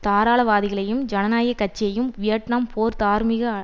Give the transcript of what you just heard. தாராளவாதிகளையும் ஜனநாயகக்கட்சியையும் வியட்நாம் போர் தார்மீக